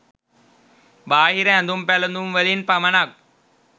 බාහිර ඇඳුම් පැළඳුම්වලින් පමණක්